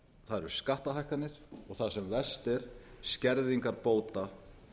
það eru skattahækkanir og það sem verst er skerðingar bóta